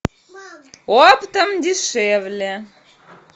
оптом дешевле